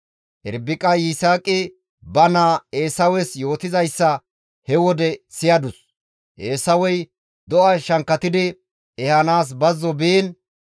Irbiqay Yisaaqi ba naa Eesawes yootizayssa he wode siyadus; Eesawey do7a shankkatidi ehanaas bazzo biin,